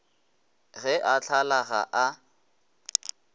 ge a hlala ga a